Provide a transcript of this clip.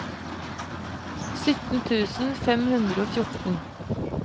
sytten tusen fem hundre og fjorten